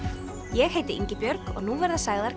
ég heiti Ingibjörg og nú verða sagðar